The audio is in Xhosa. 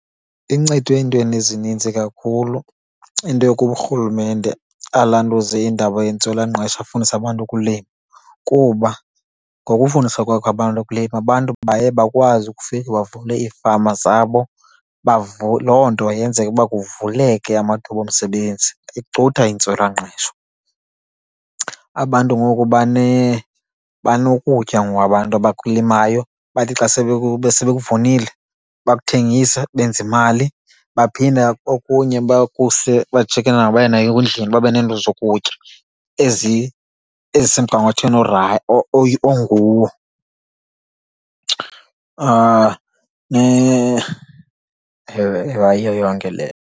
Incede entweni ezinintsi kakhulu into yokuba uRhulumente alantuze indaba yentswelangqesho afundise abantu ukulima. Kuba ngokufundisa kwakhe abantu ukulima abantu baye bakwazi ukufika bavule ifama zabo. Loo nto yenzeka ukuba kuvuleke amathuba omsebenzi, icutha intswelangqesho. Abantu ngoku banokutya ngoku abantu abakulimayo bathi xa sebekuvunile bakuthengise benze imali, baphinda okunye bakuse bajike nako baye nako endlini babe nento zokutya ezisemgangathweni onguwo, yiyo yonke leyo.